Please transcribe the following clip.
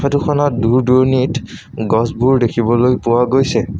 Photo খনত দূৰ দূৰণিত গছবোৰ দেখিবলৈ পোৱা গৈছে।